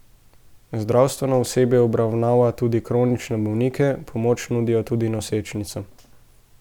Zdravstveno osebje obravnava tudi kronične bolnike, pomoč nudijo tudi nosečnicam.